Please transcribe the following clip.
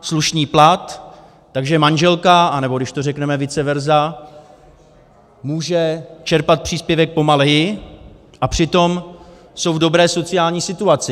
slušný plat, takže manželka - anebo když to řekneme vice versa - může čerpat příspěvek pomaleji, a přitom jsou v dobré sociální situaci.